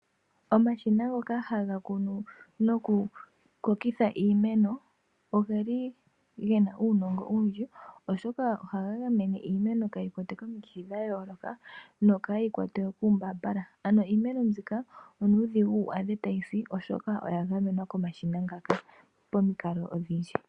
Omashina ngoka haga kunu nokukokeka iimeno oge na uunongo owundji, oshoka ohaga gamene iimeno kayi kwatwe komikithi odhindji noka yi kwatwe kuumbaambala. Iimeno mbika onuudhigu wu adhe tayi si, oshoka oya gamenwa komashina ngaka pamikalo odhindji.